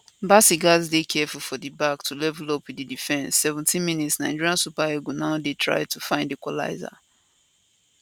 bassey gatz dey careful for di back to level up wit di defence 17mins nigeria super eagles now dey try to find equaliser